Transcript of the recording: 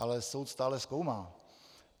Ale soud stále zkoumá.